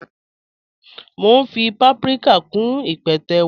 Mọ̀ n fí pàpríkà kún ípẹ̀tẹ́ wa.